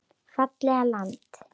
Fallegt land.